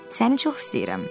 Səni çox istəyirəm.